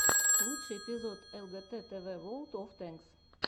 лучший эпизод лгт тв ворлд оф танкс